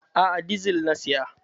A'a, dizal na saya.